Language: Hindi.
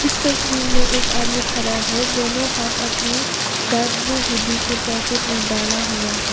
स तस्वीर में एक आदमी खड़ा है दोनों हाथ अपनी डार्क ग्रे हुड्डी के पॉकेट में डाला हुआ है।